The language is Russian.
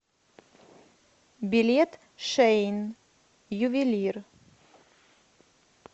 билет шейн ювелир